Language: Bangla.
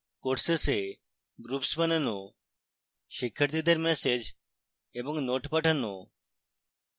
courses a groups বানানো শিক্ষার্থীদের ম্যাসেজ এবং notes পাঠানো